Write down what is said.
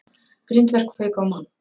Grindverk fauk á mann